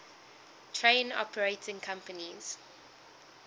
train operating companies